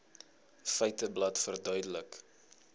feiteblad verduidelik